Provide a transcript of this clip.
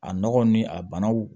A nɔgɔw ni a banaw